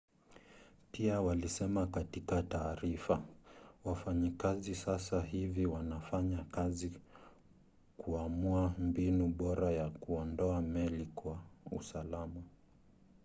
pia walisema katika taarifa wafanyakazi sasa hivi wanafanya kazi kuamua mbinu bora ya kuondoa meli kwa usalama